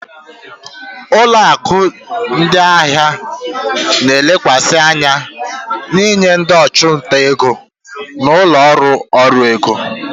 Ụlọ akụ ndị ahịa na-elekwasị anya n'inye ndị ọchụnta ego na ụlọ ọrụ ọrụ ego.